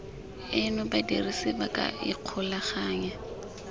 eno badirisi ba ka ikgolaganya